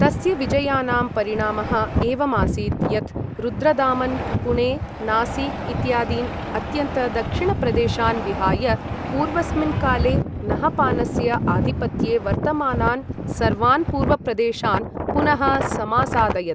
तस्य विजयानां परिणामः एवमासीत् यत् रुद्रदामन् पुणे नासिक इत्यादीन् अत्यन्तदक्षिणप्रदेशान् विहाय पूर्वस्मिन् काले नहपानस्य आधिपत्ये वर्तमानान् सर्वान् पूर्वप्रदेशान् पुनः समासादयत्।